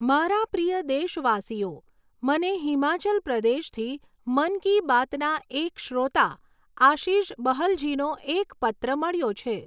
મારા પ્રિય દેશવાસીઓ, મને હિમાચલ પ્રદેશથી મન કી બાતના એક શ્રોતા આશીષ બહલજીનો એક પત્ર મળ્યો છે.